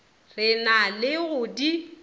re na le go di